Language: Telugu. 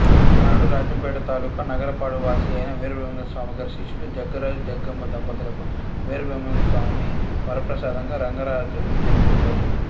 ఒకనాడు రాజంపేట తాలూకా నగరపాడువాసి అయిన వీరబ్రహ్మేంద్రస్వామి గారి శిష్యుడు జగ్గరాజు జగ్గమ్మ దంపతులకు వీరబ్రహ్మేంద్రస్వామి వరప్రసాదంగా రంగరాజు జన్మించాడు